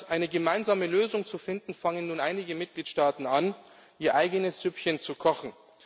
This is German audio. Anstatt eine gemeinsame Lösung zu finden, fangen nun einige Mitgliedstaaten an, ihr eigenes Süppchen zu kochen.